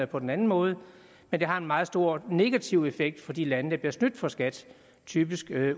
på den anden måde men det har en meget stor negativ effekt for de lande der bliver snydt for skat typisk